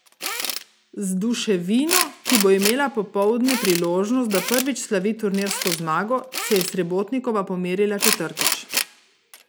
Z Duševino, ki bo imela popoldne priložnost, da prvič slavi turnirsko zmago, se je Srebotnikova pomerila četrtič.